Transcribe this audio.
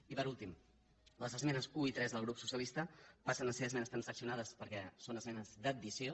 i per últim les esmenes un i tres del grup socialista passen a ser esmenes transaccionades perquè són esmenes d’addició